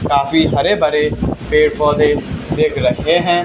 काफी हरे भरे पेड़ पौधे दिख रखे हैं।